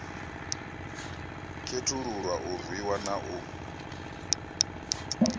khethululwa a rwiwa na u